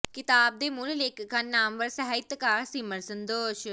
ਕਿਤਾਬ ਦੇ ਮੂਲ ਲੇਖਕ ਹਨ ਨਾਮਵਰ ਸਾਹਿਤਕਾਰ ਸਿਮਰ ਸਦੋਸ਼